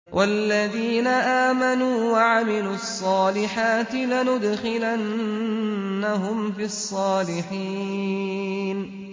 وَالَّذِينَ آمَنُوا وَعَمِلُوا الصَّالِحَاتِ لَنُدْخِلَنَّهُمْ فِي الصَّالِحِينَ